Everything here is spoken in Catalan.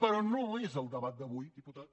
però no és el debat d’avui diputat